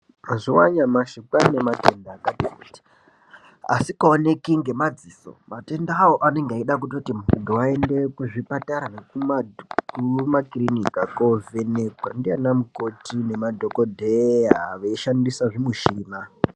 Mazuwa anyamashi kwane matenda akati kuti asikaoneki ngemadziso. Matendawo anenge eida kuti muntu aende kuzvipatara nekumakiriniki kovhenekwa ndiana mukoti nemadhokodheya veishandisa zvimushina.